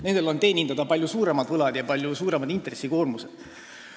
Nendel on teenindada palju suuremad võlad ja palju suuremad intressikoormused.